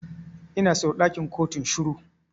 Ina so ɗakin kotun shiru.